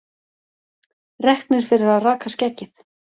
Reknir fyrir að raka skeggið